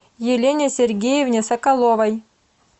елене сергеевне соколовой